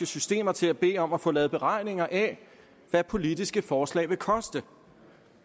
systemer til at bede om at få lavet beregninger af hvad politiske forslag vil koste